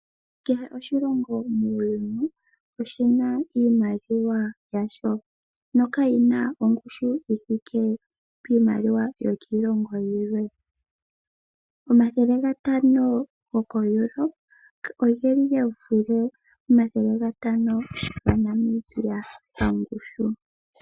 Kehe oshilongo muuyuni oshina iimaliwa yasho nokayina ongushu yithike piimaliwa yoshilongo shimwe. Omathele gatano goko Europe ogeli gevule omathele gatano gaNamibia pangushu.